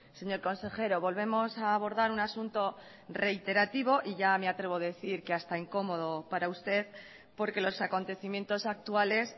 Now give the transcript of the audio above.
señor consejero volvemos a abordar un asunto reiterativo y ya me atrevo decir que hasta incómodo para usted porque los acontecimientos actuales